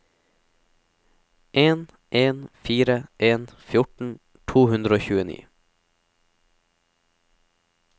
en en fire en fjorten to hundre og tjueni